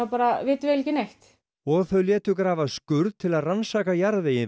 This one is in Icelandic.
vitum við ekki neitt og þau létu grafa skurð við til að rannsaka jarðveginn